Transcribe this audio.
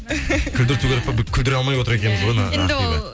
күлдірту керек ғой күлдіре алмай отыр екенбіз ғой ақбиді